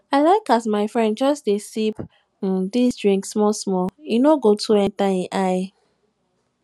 i like as my friend just dey sip um dis drink small small e no go too enta ein eye